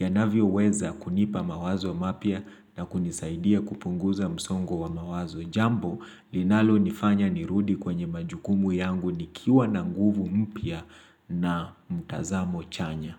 yanavyoweza kunipa mawazo mapia na kunisaidia kupunguza msongo wa mawazo. Jambo, linalonifanya nirudi kwenye majukumu yangu nikiwa na nguvu mpya na mtazamo chanya.